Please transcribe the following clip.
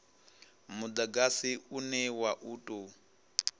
mudagasi une wa u tou